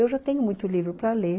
Eu já tenho muito livro para ler.